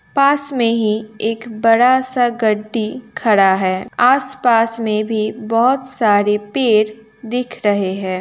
पास में ही एक बड़ा सा गटती खड़ा है। आसपास में भी बहोत सारे पेड़ दिख रहे हैं।